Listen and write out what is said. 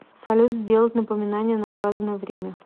салют сделать напоминание на указанное время